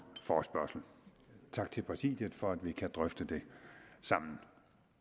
forespørgsel tak til præsidiet for at vi kan drøfte det sammen